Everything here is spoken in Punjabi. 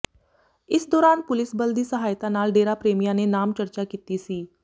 ਇਸ ਦੌਰਾਨ ਪੁਲਿਸ ਬਲ ਦੀ ਸਹਾਇਤਾ ਨਾਲ ਡੇਰਾ ਪ੍ਰੇਮੀਆਂ ਨੇ ਨਾਮ ਚਰਚਾ ਕੀਤੀ ਸੀ